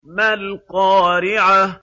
مَا الْقَارِعَةُ